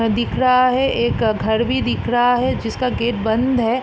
अ दिख रहा है एक घर भी दिख रहा है जिसका गेट बंद है।